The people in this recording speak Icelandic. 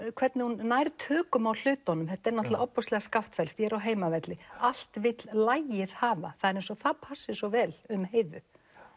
hvernig hún nær tökum á hlutunum þetta er náttúrulega ofboðslega skaftfellskt ég er á heimavelli allt vill lagið hafa það er eins og það passi svo vel um Heiðu